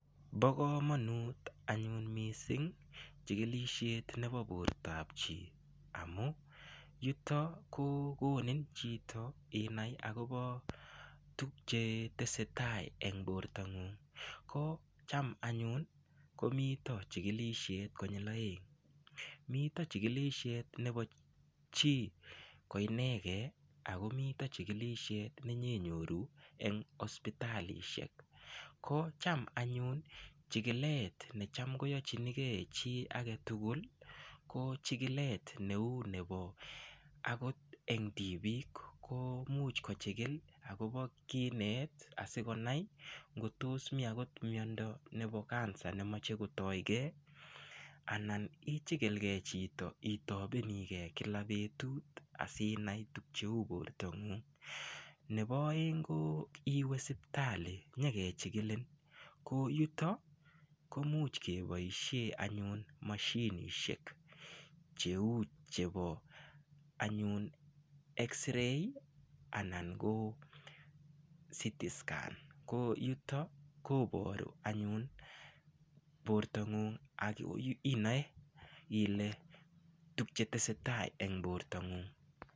Bo komonut anyun mising chikilishet nebo bortap chii amu yuto ko konin chito inai akobo tukchetesetai eng bortap ng'ung' ko cham anyun komito chikilishet konyil oeng mito chikilishet nebo chii ko inegei akomito chikilishet nenyenyoru eng hospitalishek ko cham anyun chikilet ne cham koyochinigei chii age tugul ko chikilet neu nebo akot eng tipik ko muuch kochikil akobo kinet asikonai ngotos mi akot miondo nebo Cancer nemochei kotoykee anan ichikilkee chito itobenikee kila betut asinai tukcheu bortangung nebo oeng ko iwe sipitali nyeke chikilin ko yuto komuch keboishe anyun mashinishek cheu chebo anyun x-ray anan ko ctscan ko yuto koboru anyun bortangung ak inoe tukchetesetai eng borta ng'ung'.